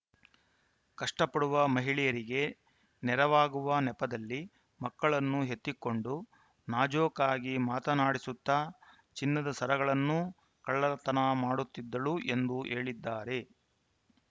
ಕಷ್ಟಪಡುವ ಮಹಿಳೆಯರಿಗೆ ನೆರವಾಗುವ ನೆಪದಲ್ಲಿ ಮಕ್ಕಳನ್ನು ಎತ್ತಿಕೊಂಡು ನಾಜೂಕಾಗಿ ಮಾತನಾಡಿಸುತ್ತಾ ಚಿನ್ನದ ಸರಗಳನ್ನು ಕಳ್ಳತನ ಮಾಡುತಿದ್ದಳು ಎಂದು ಹೇಳಿದ್ದಾರೆ